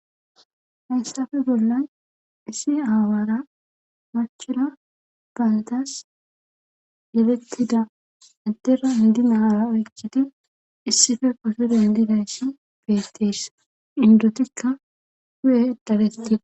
hayssafe bollan isi aawara machura baldas yelettida adera indi naara oykkidi issife kose dandidayssi beettis indotikka hu7e daletti